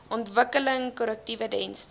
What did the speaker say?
ontwikkeling korrektiewe dienste